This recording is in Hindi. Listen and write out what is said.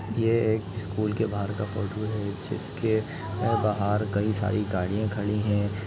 ये एक स्कूल के बाहर का फोटो है जिसके ए बाहर कई सारी गाड़ीया खड़ी है।